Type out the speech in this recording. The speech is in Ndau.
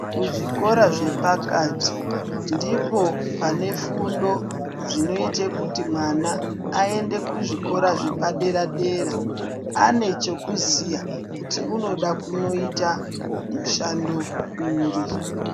Kuzvikora zvepakati ndipo pane fundo dzinoite kuti mwana aende kuzvikora zvepadera dera anechekuziya kuti unoda kunoita mushando uri.